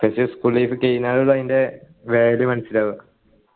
പക്ഷെ school life കഴിഞ്ഞാലു ആന്നു അയിൻ്റെ value മനസിലാവുക